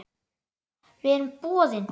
Við erum boðin.